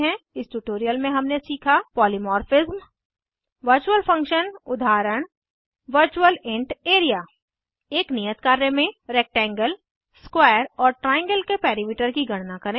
इस ट्यूटोरियल में हमने सीखा पॉलीमॉर्फिज्म वर्चुअल फंक्शन उदाहरण वर्चुअल इंट एआरईए एक नियत कार्य में रेक्टेंगल स्क्वायर और ट्राइएंगल के पेरीमीटर की गणना करें